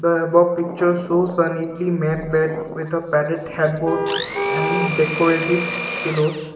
the above pictures shows a neatly map bed with a padded headboard and decorative pillows.